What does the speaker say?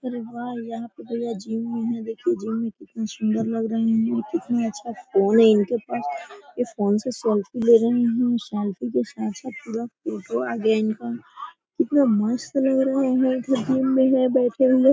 अरे वाह यहां पे भईया जिम भी है देखिए जिम मै कितनी सुन्दर लग रहे है कितनी अच्छा फ़ोन है इनके पास इस फ़ोन से सेल्फी ले रहे है सेल्फी के साथ -साथ पूरा फोटो आ गया इनका कितना मस्त लग रहा है इधर जिम में है बैठे हुए।